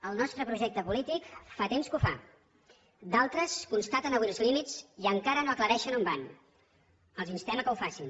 el nostre projecte polític fa temps que ho fa d’altres constaten avui els límits i encara no aclareixen on van els instem que ho facin